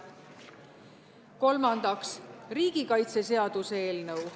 Kolmandaks, riigikaitseseaduse eelnõu.